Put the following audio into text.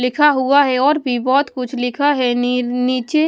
लिखा हुआ है और भी बहोत कुछ लिखा है नी नीचे--